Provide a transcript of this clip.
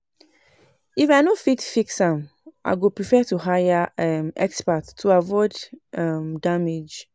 If I no sabi fix fix am, I go prefer to hire um expert to avoid um damage.